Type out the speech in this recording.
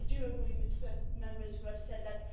I agree with certain Members who have said that.